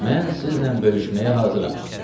Mən sizinlə bölüşməyə hazıram.